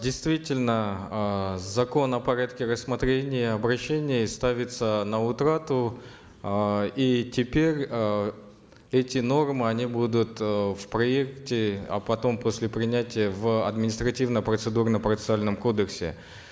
действительно э закон о порядке рассмотрения обращений ставится на утрату э и теперь э эти нормы они будут э в проекте а потом после принятия в административном процедурно процессуальном кодексе